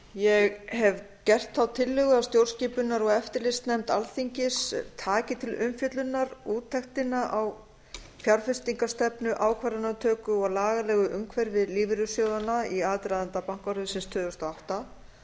ég hef gert þá tillögu að stjórnskipunar og eftirlitsnefnd alþingis taki til umfjöllunar úttektina á fjárfestingarstefnu ákvarðanatöku og lagalegu umhverfi lífeyrissjóðanna i aðdraganda bankahrunsins tvö þúsund og átta